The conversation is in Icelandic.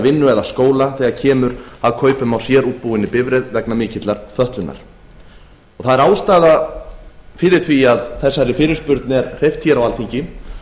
vinnu eða skóla þegar kemur að kaupum á sérútbúinni bifreið vegna mikillar fötlunar það er ástæða fyrir því að þessari fyrirspurn er hreyft hér á alþingi